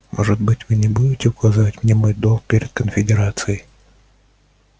может быть вы не будете указывать мне мой долг перед конфедерацией